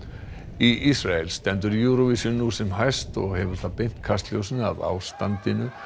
í Ísrael stendur Eurovision nú sem hæst og hefur það beint kastljósinu að ástandinu